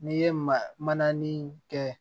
N'i ye maanin kɛ